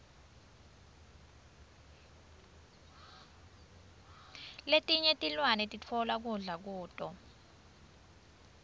letinye tilwane sitfola kudla kuto